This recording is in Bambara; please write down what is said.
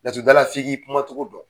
Laturu da la f'i k'i kuma cogo don.